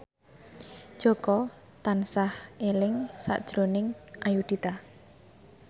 Jaka tansah eling sakjroning Ayudhita